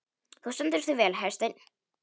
Þú stendur þig vel, Hersteinn!